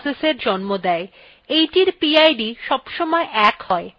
এইটির pid সবসময় ১ has